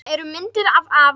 Það eru myndir af afa